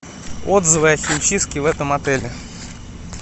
отзывы о химчистке в этом отеле